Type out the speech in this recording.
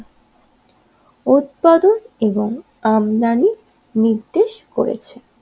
উৎপাদন এবং আমদানি নির্দেশ করেছে